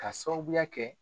K'a sababuya kɛ